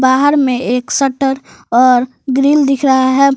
बाहर में एक शटर और ग्रिल दिख रहा है।